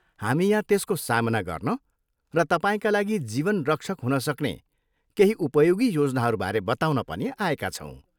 हामी यहाँ त्यसको सामना गर्न र तपाईँका लागि जीवनरक्षक हुनसक्ने केही उपयोगी योजनाहरूबारे बताउन पनि आएका छौँ।